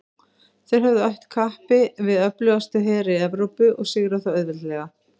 Þeir höfðu att kappi við öflugustu heri Evrópu og sigrað þá auðveldlega.